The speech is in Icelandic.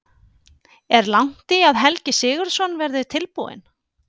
Er langt í að Helgi Sigurðsson verði tilbúinn?